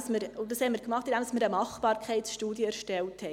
Dazu haben wir eine Machbarkeitsstudie erstellt.